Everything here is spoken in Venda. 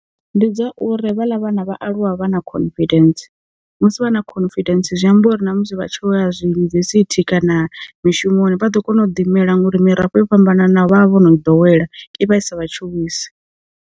Ndi dza uri havhala vhana vha aluwa vha na confidence, musi vha na confidence zwi amba uri na musi vha tshi vho ya zwi yunivesithi kana mishumoni vha ḓo kona u ḓi mela ngauri mirafho yo fhambananaho vha vha vho no dowela i vha i sa vha tshuwisi.